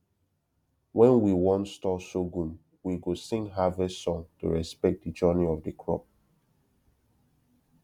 when we wan store sorghum we go sing harvest song to respect the journey of the crop